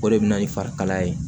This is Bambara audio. O de bɛ na ni farikalaya ye